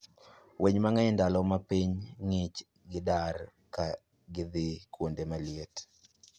Winy mang'eny ndalo ma piny ng'ich gidar ka gidhii kuonde maliet